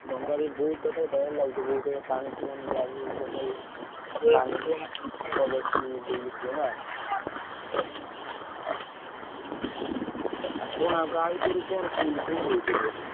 ଡଙ୍ଗାରେ ବଉ ତଥାପି ଡ଼ର ଲାଗୁଥିବ ବହୁତ୍ ପାଣି ଥିବ ନା ଯାହାବି ହଉ ସକାଳୁ ସାପ ବେଶୀ ବୁଲୁଥିବେ ନା? ଆଉ କଣ ଆଉ ଗାଈଗୋରୁ କଣ କିମିତି କୋଉଠି ରହୁଛନ୍ତି ଏବେ?